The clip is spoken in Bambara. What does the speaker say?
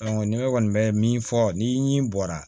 ni ne kɔni bɛ min fɔ ni bɔra